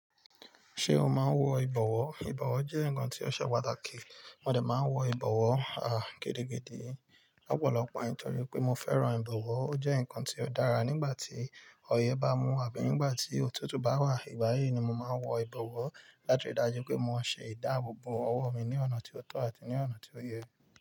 Ṣé o máa ń wọ ìbọ̀wọ́? Ìbọ̀wọ́ jẹ́ nǹkan tí ó ṣe pàtàkì. Mo dé máa ń wọ ìbọ̀wọ́, à, gidi gidi. Ọ̀pọ̀lọpọ̀ àìní tọrí pé mo fẹ́ràn ìbọ̀wọ́. Ó jẹ́ nǹkan tí ó dára nígbà tí ọyẹ́ bá mú wà bí nígbà tí òtútù bá wà. Ìgbà yìí ni mo máa ń wọ ìbọ̀wọ́ láti rí i dájú pé mo ṣe ìdáàbò bo ọwọ́ mi ní ọ̀nà tí ó tọ́ àti ní ọ̀nà tí ó yẹ.